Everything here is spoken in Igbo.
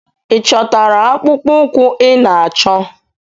Ị chọtara akpụkpọ ụkwụ ị na-achọ?